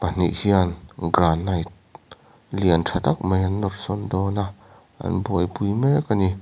pahnih hian granite lian tha tak mai an nawr sawn dawn a an buaipui mek ani.